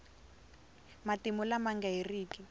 matimu lama nga heriki